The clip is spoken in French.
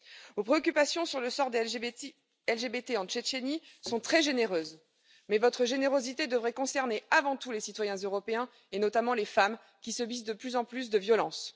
Vos préoccupations sur le sort des LGBT en Tchétchénie sont très généreuses, mais votre générosité devrait concerner avant tout les citoyens européens, et notamment les femmes, qui subissent de plus en plus de violences.